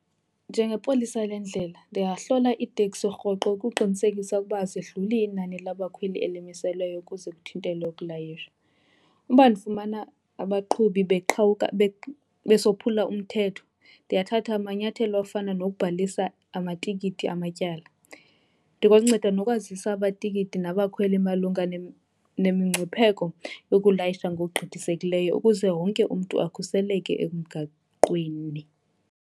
Njengepolisa lendlela ndingahlola iiteksi rhoqo ukuqinisekisa ukuba azidluli inani labakhweli elimiselweyo ukuze kuthintele ukulayisha. Uba ndifumana abaqhubi besophula umthetho ndiyathatha amanyathelo afana nokubhalisa amatikiti amatyala. Ndikwanceda nokwazisa amatikiti nabakhweli malunga nemingcipheko yokulayisha ngokugqithisekileyo ukuze wonke umntu akhuseleke emgaqweni.